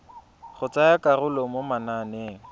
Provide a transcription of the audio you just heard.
go tsaya karolo mo mananeng